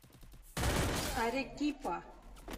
арекипа